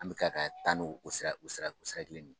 An bɛ ka ka taa n'o sira o sira o sira kelen de ye.